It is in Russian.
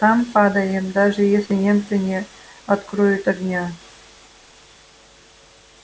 там падаем даже если немцы не откроют огня